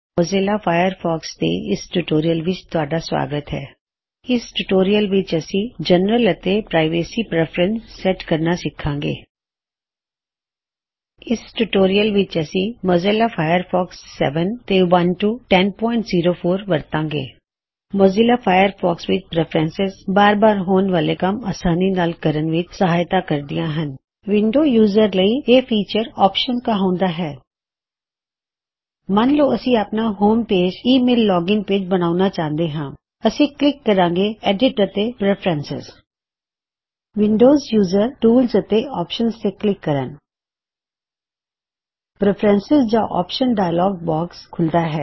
Mozilla Firefox ਦੇ ਇਸ tutorial ਵਿਚ ਤੁਹਾਡਾ ਸਵਾਗਤ ਹੈ ਇਸ ਟਿਊਟੋਰਿਅਲ ਵਿਚ ਅਸੀ ਜਨਰਲ ਅਤੇ ਪ੍ਰਾਇਵੇਸੀ ਪ੍ਰੈਫਰੇਂਸੇਸ ਸੈੱਟ ਕਰਨਾ ਸਿੱਖਾਂਗੇ ਇਸ ਟਿਊਟੋਰਿਅਲ ਵਿਚ ਅਸੀ ਮੋਜ਼ਿਲਾ ਫਾਇਰਫੌਕਸ 70 ਤੇ ਉਬੁੰਟੂ 1004 ਵਰਤਾਂਗੇ ਮੋਜ਼ਿਲਾ ਫਾਇਰਫੌਕਸ ਵਿਚ ਪ੍ਰੈਫਰੈਂਸੇਸ ਸਾਨੂੰ ਬਾਰ ਬਾਰ ਹੋਣ ਵਾਲੇ ਕੰਮ ਆਸਾਨੀ ਨਾਲ ਕਰਨ ਵਿਚ ਸਹਾਇਤਾ ਕਰਦੀਆਂ ਹਨ ਵਿੰਡੋਜ਼ ਯੂਜ਼ਰਜ਼ ਲਈ ਇਹ ਫੀਚਰ ਆਪਸ਼ਨਜ਼ ਕਹਾਉਂਦਾ ਹੈ ਮਨ ਲਓ ਅਸੀ ਆਪਣਾ ਹੋਮ ਪੇਜ ਹੀ ਈ ਮੇਲ ਲੋਗਿਨ ਪੇਜ ਬਣਾਉਣਾ ਚਾਹੁੰਦੇ ਹਾਂ ਅਸੀ ਕਲਿੱਕ ਕਰਾਂਗੇ ਐਡਿਟ ਅਤੇ ਪ੍ਰੈਫਰੈਂਸੇਜ਼ ਵਿੰਡੋਜ਼ ਯੂਜ਼ਰਜ਼ ਟੂਲਜ਼ ਅਤੇ ਓਪਸ਼ਨਜ਼ ਤੇ ਕਲਿੱਕ ਕਰਨ ਪ੍ਰੈਫਰੈਂਸੇਜ਼ ਜਾਂ ਓਪਸ਼ਨ ਡਾਇਲੌਗ ਬੌਕਸ ਖੁੱਲਦਾ ਹੈ